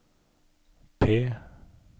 P